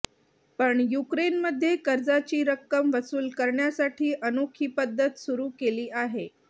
पण युक्रेनमध्ये कर्जाची रक्कम वसूल करण्यासाठी अनोखी पद्धत सुरू केली आहे